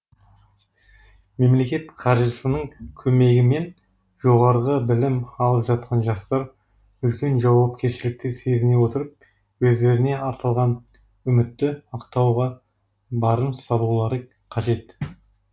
мемлекет қаржысының көмегімен жоғары білім алып жатқан жастар үлкен жауапкершілікті сезіне отырып өздеріне артылған үмітті ақтауға барын салулары қажет